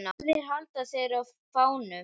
Báðir halda þeir á fánum.